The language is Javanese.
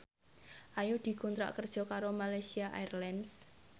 Ayu dikontrak kerja karo Malaysia Airlines